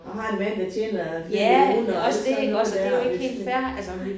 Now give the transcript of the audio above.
Og har en ven der tjener flere millioner også sådan noget der og det sådan nej